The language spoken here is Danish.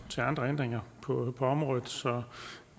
til andre ændringer på området